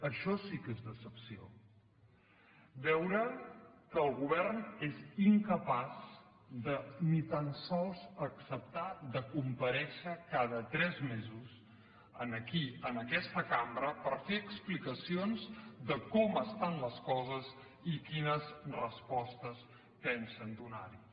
això sí que és decepció veure que el govern és incapaç de ni tan sols acceptar de comparèixer cada tres mesos aquí en aquesta cambra per fer explicacions de com estan les coses i quines respostes pensen donarhi